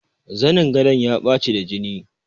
Zanin gadon ya ɓaci da jini.